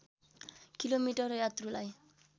kilometre यात्रुलाई